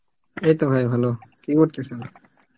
এই তো ভাই ভালো, কি করতেছেন?